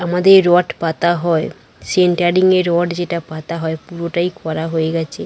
আমাদের রড পাতা হয় সেন্টারিং এ রড যেটা পাতা হয় পুরোটাই করা হয়ে গেছে।